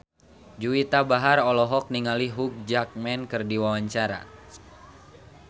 Juwita Bahar olohok ningali Hugh Jackman keur diwawancara